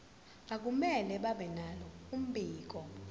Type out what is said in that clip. akumele babenalo mbiko